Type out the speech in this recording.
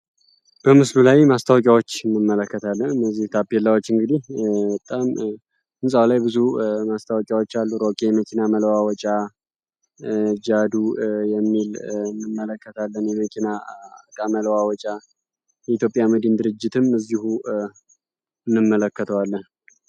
በምስሉ ላይ ማስታወቂያዎችን እንመለከታለን እነዚህ ታፔላችን እንግዲ በጣም ብዙ ማስታወቂያዎች አሉ መኪና መለዋወጫ ጃዶ የሚል እንመለከተ የመኪና እቃ መለዋወጫ የኢትዮጵያ መድን ድርጅትም እዚህ እንመለከተዋለን።